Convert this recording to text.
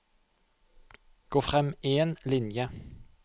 Gå frem én linje